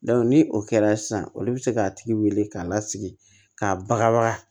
ni o kɛra sisan olu be se k'a tigi wele k'a lasigi k'a baga baga